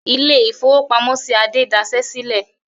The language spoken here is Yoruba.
Ilé-ìfowópamọ́sí Adé dasẹ́ sílẹ̀.